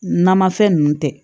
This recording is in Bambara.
Namafɛn ninnu tɛ